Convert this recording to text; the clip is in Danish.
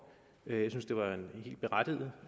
jeg synes at det var et helt berettiget